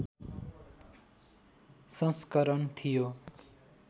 संस्करण थियो